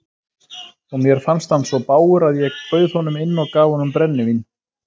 Og mér fannst hann svo bágur að ég bauð honum inn og gaf honum brennivín.